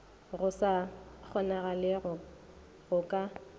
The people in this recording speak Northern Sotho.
go sa kgonagalego go ka